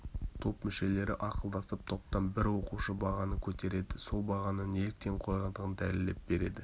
топ мүшелері ақылдасып топтан бір оқушы бағаны көтереді сол бағаны неліктен қойғандығын дәлелдеп береді